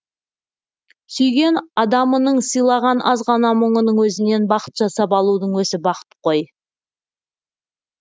сүйген адамының сыйлаған азғана мұңының өзінен бақыт жасап алудың өзі бақыт қой